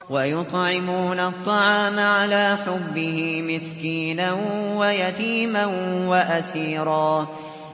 وَيُطْعِمُونَ الطَّعَامَ عَلَىٰ حُبِّهِ مِسْكِينًا وَيَتِيمًا وَأَسِيرًا